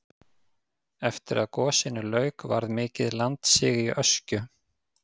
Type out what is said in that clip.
eftir að gosinu lauk varð mikið landsig í öskju